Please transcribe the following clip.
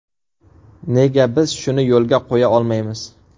Nega biz shuni yo‘lga qo‘ya olmaymiz?